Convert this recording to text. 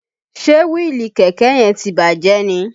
Ṣe wíìlì kẹ̀kẹ́ yẹn ti bàjẹ́ ni?